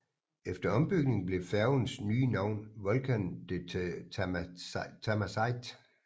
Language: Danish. Efter ombygning blev færgens nye navn Volcan de Tamasite